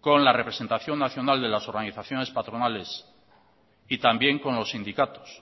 con la representación nacional de las organizaciones patronales y también con los sindicatos